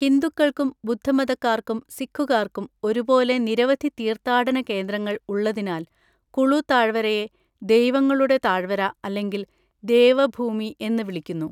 ഹിന്ദുക്കൾക്കും ബുദ്ധമതക്കാർക്കും സിഖുകാർക്കും ഒരുപോലെ നിരവധി തീർത്ഥാടന കേന്ദ്രങ്ങൾ ഉള്ളതിനാൽ കുളു താഴ്‌വരയെ ദൈവങ്ങളുടെ താഴ്‌വര അല്ലെങ്കിൽ ദേവ ഭൂമി എന്ന് വിളിക്കുന്നു.